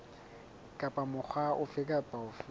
kapa mokga ofe kapa ofe